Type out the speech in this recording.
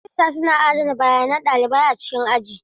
Rajistas suna adana bayanan ɗalibai a cikin aji.